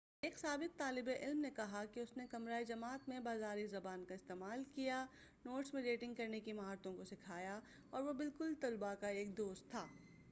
ایک سابق طالب علم نے کہا کہ اُس نے 'کمرۂ جماعت میں بازاری زبان کا استعمال کیا ، نوٹس میں ڈیٹنگ کرنے کی مہارتوں کو سکھایا، اور وہ بالکل طلباء کا ایک دوست تھا'۔